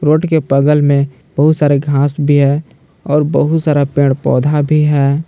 Road के बगल में बहुत सारे घास भी है और बहुत सारा पेड़ पौधा भी है।